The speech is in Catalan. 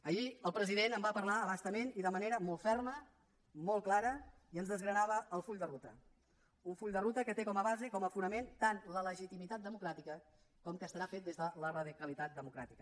ahir el president en va parlar a bastament i de manera molt ferma molt clara i ens desgranava el full de ruta un full de ruta que té com a base com a fonament tant la legitimitat democràtica com que estarà fet des de la radicalitat democràtica